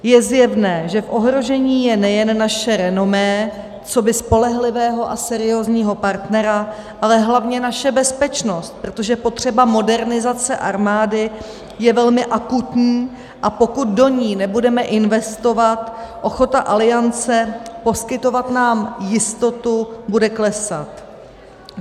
Je zjevné, že v ohrožení je nejen naše renomé coby spolehlivého a seriózního partnera, ale hlavně naše bezpečnost, protože potřeba modernizace armády je velmi akutní, a pokud do ní nebudeme investovat, ochota Aliance poskytovat nám jistotu bude klesat.